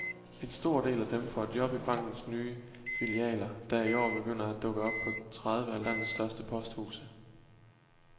En stor del af dem får job i bankens nye filialer, der i år begynder at dukke op på tredive af landets største posthuse.